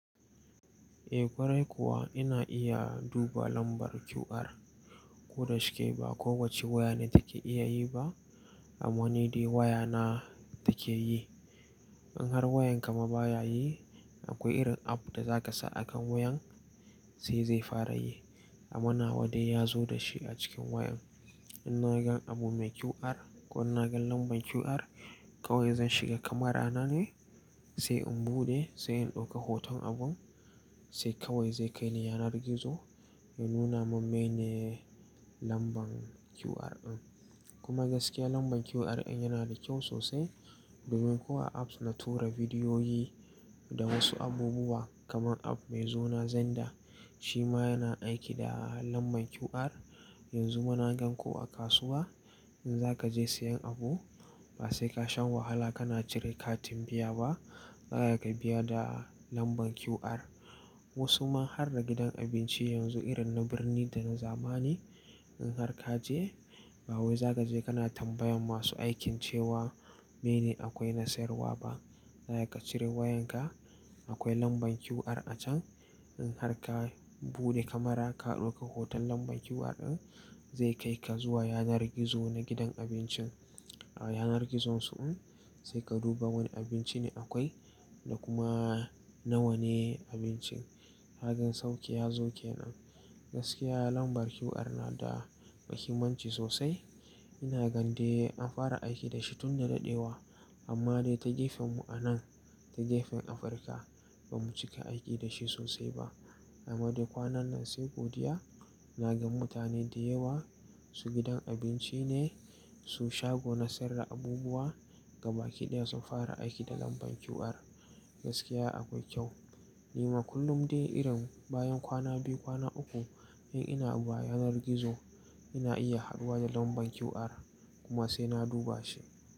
Eh, ƙwarai kuwa ina iya duba lambar QR. Ko da shike ba kowace waya ne take iya yi ba, amma ni dai waya na take yi. In har wayarka ma baya yi, akwai irin app da za ka sa a kan wayan, sai zai fara yi. Amma nawa dai ya zo da shi a cikin wayan. In naga abu mai QR ko in naga lambar QR, kawai zan shiga kamara na ne, sai in buɗe, sai in ɗauki hoton abun, sai kawai zai kai ni yanar gizo ya nuna mun mene lambar QR ɗin. Kuma gaskiya lambar QR ɗin yana da kyau sosai domin ko a apps na tura bidiyoyi da wasu abubuwa kamar app mai suna Xender. Shi ma yana aiki da lambar QR. Yanzu ma na gan ko a kasuwa in za ka je sayan abu, ba sai kasha wahala ka na cire katin biya ba, za ka biya da lambar QR. Wasu ma har da gidan abinci yanzu irin na birni da na zamani in har ka je, ba wai za ka je ka na tambayan masu aikin cewa mene akwai na sayarwa ba. Za ka cire wayan ka, akwai lambar QR a can. In har ka buɗe kamara ka ɗauki hoton lambar QR ɗin, zai kai ka zuwa yanar gizo na gidan abincin. A yanar gizon su in, sai ka duba wane abinci ne akwai da kuma nawa ne abincin. Kagan sauƙi ya zo kenan. Gaskiya lambar QR na da muhimmanci sosai. Ina gan dai an fara aiki da shi tun da dadewa, amma dai ta gefen mu a nan, ta gefen Afirka ba mu cika aiki da shi sosai ba. Amma dai kwanan nan sai godiya, na ga mutane da yawa, su gidan abinci ne, su shago na sayar da abubuwa gaba ki ɗaya sun fara aiki da lambar QR. Gaskiya akwai kyau. Ni ma kullum dai irin bayan kwana biyu, kwana uku in ina abu yanar gizo, ina iya haduwa da lambar QR kuma sai na duba shi.